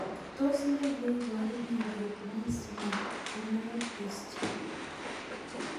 Tos ne neiparu miondop Meesmann corneal dystrophy